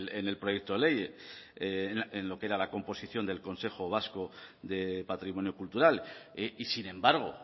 en el proyecto ley en lo que era la composición del consejo vasco de patrimonio cultural y sin embargo